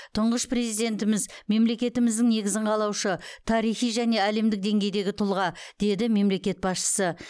тұңғыш президентіміз мемлекетіміздің негізін қалаушы тарихи және әлемдік деңгейдегі тұлға деді мемлекет басшысы